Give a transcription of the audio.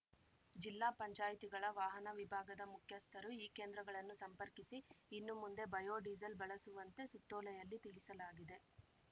ಜಿಲ್ಲಾ ಪಂಚಾಯತಿಗಳ ವಾಹನ ವಿಭಾಗದ ಮುಖ್ಯಸ್ಥರು ಈ ಕೇಂದ್ರಗಳನ್ನು ಸಂಪರ್ಕಿಸಿ ಇನ್ನು ಮುಂದೆ ಬಯೋ ಡೀಸೆಲ್‌ ಬಳಸುವಂತೆ ಸುತ್ತೋಲೆಯಲ್ಲಿ ತಿಳಿಸಲಾಗಿದೆ